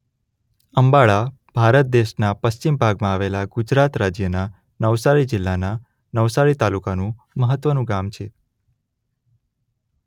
અંબાડા ભારત દેશના પશ્ચિમ ભાગમાં આવેલા ગુજરાત રાજ્યના નવસારી જિલ્લાના નવસારી તાલુકાનું મહત્વનું ગામ છે.